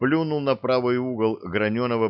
плюнул на правый угол гранённого